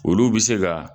Olu bɛ se ka